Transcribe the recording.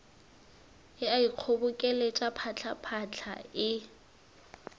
e a ikgobokeletša phatlaphatla e